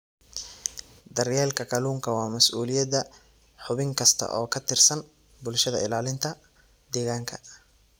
Daryeelka kalluunka waa mas'uuliyadda xubin kasta oo ka tirsan bulshada ilaalinta deegaanka.